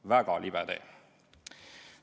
Väga libe tee!